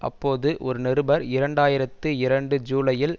அப்போது ஒரு நிருபர் இரண்டு ஆயிரத்தி இரண்டு ஜூலையில்